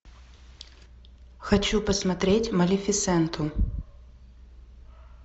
хочу посмотреть малефисенту